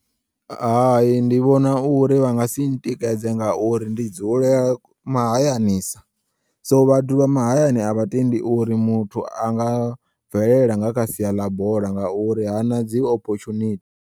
Hayi ndi vhona uri vha nga si ntikedze ngauri ndi dzulela mahayanisa so vhathu vhamahayani avhatendi uri muthi anga bvelela nga kha siya ḽa bola ngauri hana dzi ophotshunithi.